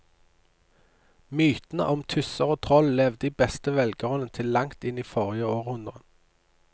Mytene om tusser og troll levde i beste velgående til langt inn i forrige århundre.